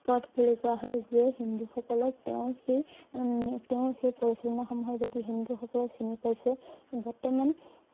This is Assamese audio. পঠ বুলি কোৱা হয় যিয়ে হিন্দু সকলক তেওঁৰ সেই~তেওঁৰ সেই পৰিচালনা সমূহৰ যদি হিন্দু সকলে চিনি পাইছে বৰ্তমান